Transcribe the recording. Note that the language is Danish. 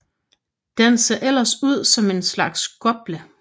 Den ser ellers ud som en slags gople